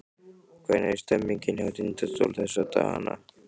Hvernig er stemningin hjá Tindastól þessa dagana?